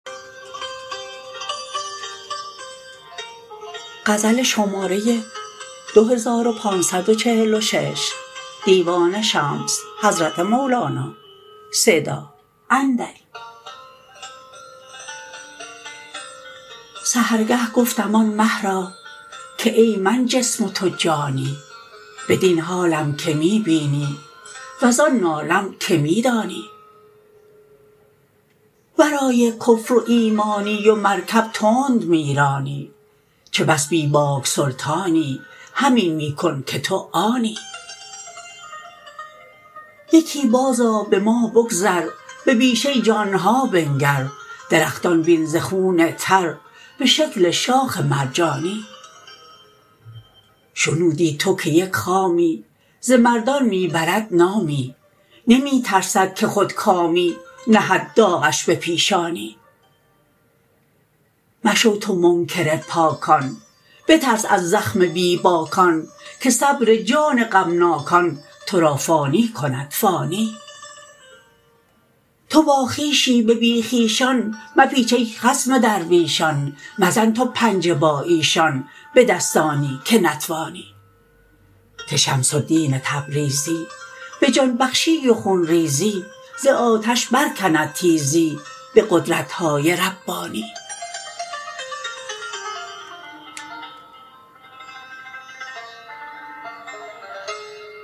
سحرگه گفتم آن مه را که ای من جسم و تو جانی بدین حالم که می بینی وزان نالم که می دانی ورای کفر و ایمانی و مرکب تند می رانی چه بس بی باک سلطانی همین می کن که تو آنی یکی بازآ به ما بگذر به بیشه جان ها بنگر درختان بین ز خون تر به شکل شاخ مرجانی شنودی تو که یک خامی ز مردان می برد نامی نمی ترسد که خودکامی نهد داغش به پیشانی مشو تو منکر پاکان بترس از زخم بی باکان که صبر جان غمناکان تو را فانی کند فانی تو باخویشی به بی خویشان مپیچ ای خصم درویشان مزن تو پنجه با ایشان به دستانی که نتوانی که شمس الدین تبریزی به جان بخشی و خون ریزی ز آتش برکند تیزی به قدرت های ربانی